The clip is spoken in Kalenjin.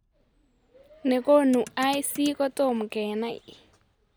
Ne konu IC kotom kenai